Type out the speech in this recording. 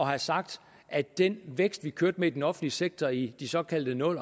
have sagt at den vækst vi kørte med i den offentlige sektor i de såkaldte nul